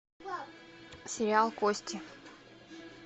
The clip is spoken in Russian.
сериал кости